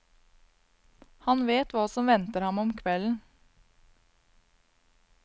Han vet hva som venter ham om kvelden.